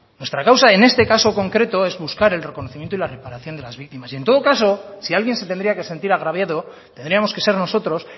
nuestra causa en este caso en concreto es buscar el reconocimiento y la reparación de las víctimas y en todo caso si alguien se tendría que sentir agraviado tendríamos que ser nosotros